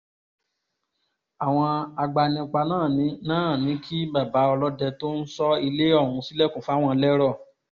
àwọn agbanipa náà náà ní kí bàbá ọlọ́dẹ tó ń sọ ilé ọ̀hún ṣílẹ̀kùn fáwọn lérò